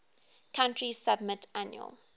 country submit annual